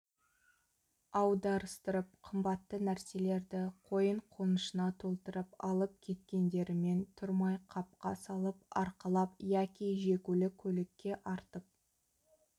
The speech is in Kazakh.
аударыстырып қымбатты нәрселерді қойын-қонышына толтырып алып кеткендерімен тұрмай қапқа салып арқалап яки жегулі көлікке артып